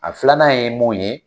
A filanan ye mun ye